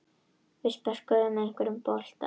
Við spörkuðum einhvern vegin saman.